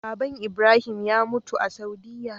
baban ibrahim ya mutu a saudiya